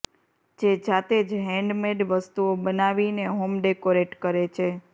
જે જાતે જ હેન્ડમેડ વસ્તુઓ બનાવીને હોમ ડેકોરેટ કરે છે